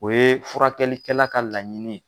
O ye furakɛlikɛla ka laɲini.